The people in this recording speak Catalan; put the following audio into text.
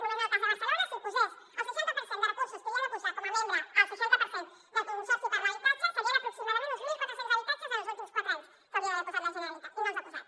només en el cas de barcelona si hi posés el seixanta per cent de recursos que hi ha de posar com a membre el seixanta per cent del consorci per l’habitatge serien aproximadament uns mil quatre cents habitatges en els últims quatre anys que hi hauria d’haver posat la generalitat i no els hi ha posat